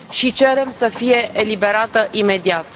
Cerem să fie eliberată imediat!